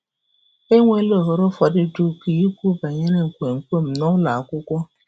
“E nweela ohere ụfọdụ dị ukwuu ikwu banyere nkwenkwe m nụlọ akwụkwọ.